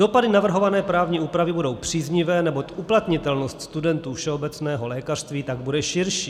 Dopady navrhované právní úpravy budou příznivé, neboť uplatnitelnost studentů všeobecného lékařství tak bude širší.